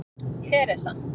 Teresa